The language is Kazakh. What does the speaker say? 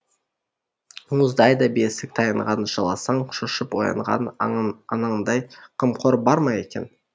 мұздай да бесік таянған жыласаң шошып оянған анаңдай қамқор бар ма екен